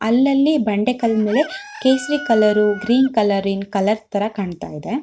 ಅಲ್ಲಲ್ಲಿ ಬಂಡೆ ಕಲ್ ಮೇಲೆ ಕೇಸರಿ ಕಲರ್ ಗ್ರೀನ್ ಕಲರ್ ರಿನ್ ಕಲರ್ ತರ ಕಾಣ್ತ್ತಾ ಇದೆ.